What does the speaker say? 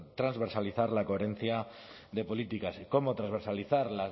transversalizar la coherencia de políticas cómo transversalizar